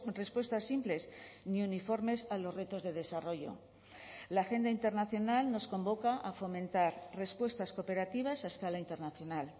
respuestas simples ni uniformes a los retos de desarrollo la agenda internacional nos convoca a fomentar respuestas cooperativas hasta la internacional